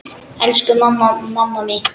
Elsku mamma, mamma mín.